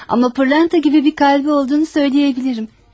Ama pırlanta gibi bir kalbi olduğunu söyleyebilirim.